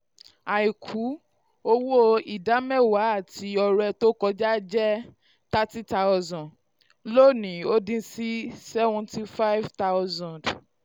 áìkú: owó ìdámẹ́wàá àti ọrẹ um tó kọjá jẹ́ thirty thousand lónìí ó dín sí seventy five thousand